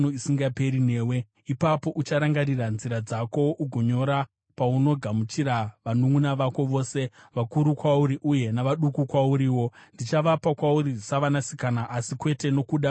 Ipapo ucharangarira nzira dzako ugonyora paunogamuchira vanunʼuna vako, vose vakuru kwauri uye navaduku kwauriwo. Ndichavapa kwauri savanasikana, asi kwete nokuda kwesungano yangu newe.